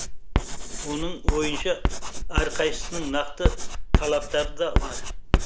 оның ойынша әрқайсының нақты талаптар да бар